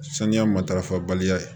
Saniya matarafa baliya ye